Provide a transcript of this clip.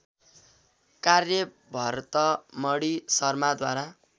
कार्य भरतमणी शर्माद्वारा